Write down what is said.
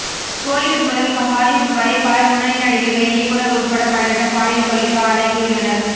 கோலிவுட் முதல் ஹாலிவுட் வரை பல முன்னணி நடிகைகள் இயக்குனர் உள்பட பலரிடம் பாலியல் தொல்லைக்கு ஆளாகியுள்ளனர்